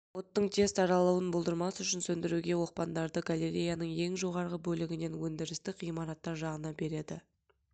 оттың тез таралуын болдырмас үшін сөндіруге оқпандарды галереяның ең жоғарғы бөлігінен өндірістік ғимараттар жағынан береді